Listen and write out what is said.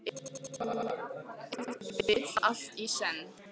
Ef til vill allt í senn.